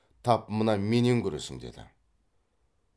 тап мына менен көресің деді